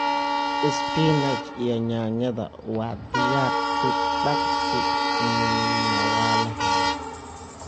Spinach iyo yaanyada waa diyaar si daqsii na waa lahelaa.